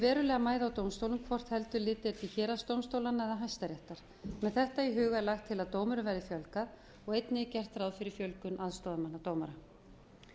verulega mæða á dómstólum hvort heldur litið er til héraðsdómstólanna eða hæstaréttar með þetta í huga er lagt til að dómurum verði fjölgað og einnig er gert ráð fyrir fjölgun aðstoðarmanna